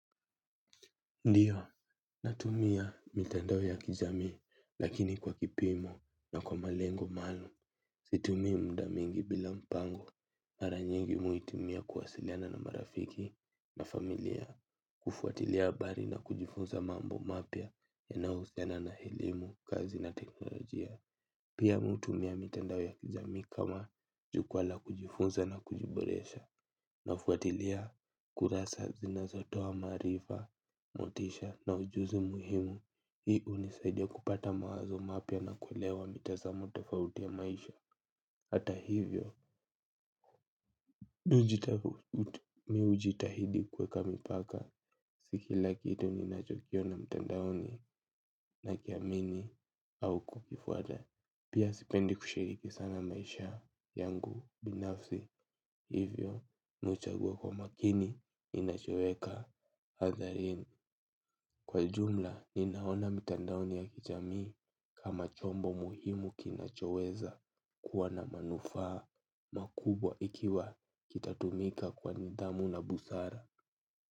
Ndiyo, natumia mitandao ya kijamii lakini kwa kipimo na kwa malengo maalum. Situmia muda mingi bila mpango mara nyingi mi huitumia kuwasiliana na marafiki na familia. Kufuatilia habari na kujifunza mambo mapya yanayo husiana na elimu, kazi na teknolojia. Pia mi hutumia mitandao ya kijamii kama jukwala kujifunza la kujiboresha. Nafuatilia kurasa zinazotoa maarifa, motisha na ujuzi muhimu. Hii hunisaidia kupata mawazo mapya na kulewa mitazamo tofauti ya maisha. Hata hivyo, mi hujitahidi kweka mipaka. Si kila kitu ni nachokiona mtandaoni na kiamini au kukifwata. Pia sipendi kushiriki sana maisha yangu binafsi. Hivyo, nachagua kwa makini, ninachoweka. Hadharini, kwa jumla, ninaona mitandaoni ya kijamii kama chombo muhimu kinachoweza kuwa na manufaa makubwa ikiwa kita tumika kwa nidhamu na busara.